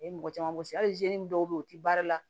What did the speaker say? A ye mɔgɔ caman wisi hali dɔw bɛ yen u tɛ baara la